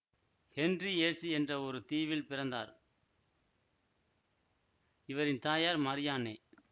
Henry Jersey என்ற ஒரு தீவில் பிறந்தார் இவரின் தாயார் மாரியான்னே